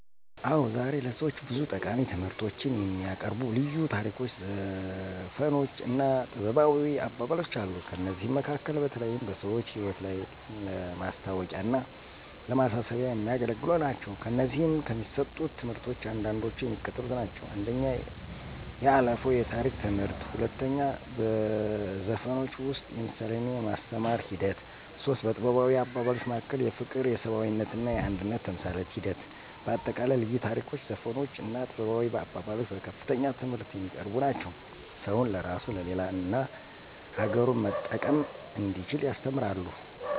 አዎ ዛሬ ለሰዎች ብዙ ጠቃሚ ትምህርቶችን የሚያቀርቡ ልዩ ታሪኮች ዘፈኖች እና ጥበባዊ አባባሎች አሉ። ከእነዚህም መካከል በተለይም በሰዎች ህይወት ላይ ለማስታዎቂያና ለማሳሰቢያ የሚያገለግሉ ናቸው። ከእነዚህም ከሚሰጡት ትምህርቶች አንዳንዶቹ የሚከተሉት ናቸው፦ 1. የአለፋው የታሪክ ትምህርት 2. በዘፈኖች ውስጥ የምሳሌና የማስተማር ሒደት 3. በጥበባዊ አባባሎች መካከል የፍቅር የሰብአዊነትና የአንድነት ተምሳሌት ሒደት በአጠቃላይ ልዩ ታሪኮች ዘፈኖች እና ጥበባዊ አባባሎች በከፍተኛ ትምህርት የሚያቀርቡ ናቸው። ሰውን ለራሱ ለሌላ እና አገሩን መጠቀም እንዲችል ያስተምራሉ።